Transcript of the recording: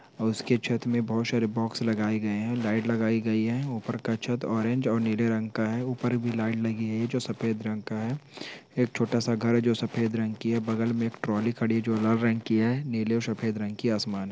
उसके छत में बहुत सारे बॉक्स लगाए गए है लाइट लगाई गई है ऊपर का छत ऑरेंज और नीले रंग का है ऊपर भी लाइट लगी है जो सफेद रंग का है एक छोटा-सा घर है जो सफेद रंग की है बगल में एक ट्रौली खड़ी है जो लाल रंग की है नीले और सफेद रंग की आसमान है।